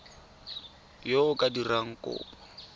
yo o ka dirang kopo